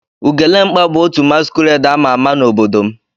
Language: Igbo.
Ugelemkpa bu otu masquerade ama ama n'obodo m.